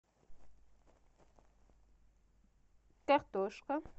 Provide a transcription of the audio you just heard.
картошка